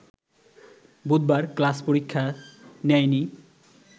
বুধবার ক্লাস-পরীক্ষা নেয়নি